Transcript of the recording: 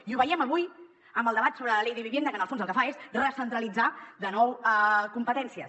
i ho veiem avui amb el debat sobre la ley de vivienda que en el fons el que fa és recentralitzar de nou competències